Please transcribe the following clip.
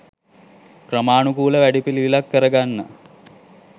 ක්‍රමානුකූල වැඩපිළිවෙලක් කරගන්න